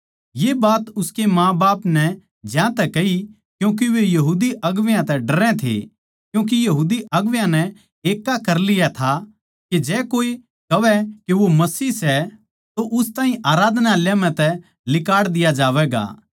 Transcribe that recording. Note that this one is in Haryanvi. ये बात उसकै माँबाप नै ज्यांतै कही क्यूँके वे यहूदी अगुवां तै डरै थे क्यूँके यहूदी अगुवां नै एक्का कर लिया था के जै कोए कहवै के वो मसीह सै तो उस ताहीं आराधनालय म्ह तै लिकाड़ दिया जावैगा